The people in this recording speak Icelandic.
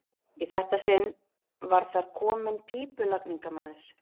Í þetta sinn var þar kominn pípulagningamaður.